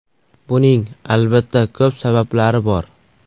Buning, albatta, ko‘p sabablari bor.